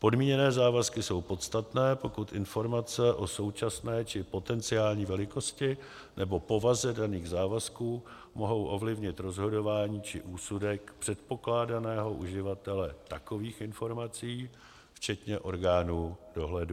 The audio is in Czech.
Podmíněné závazky jsou podstatné, pokud informace o současné či potenciální velikosti nebo povaze daných závazků mohou ovlivnit rozhodování či úsudek předpokládaného uživatele takových informací včetně orgánů dohledu.